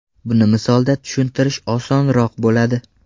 Buni misolda tushuntirish osonroq bo‘ladi.